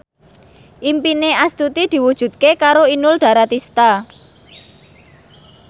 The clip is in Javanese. impine Astuti diwujudke karo Inul Daratista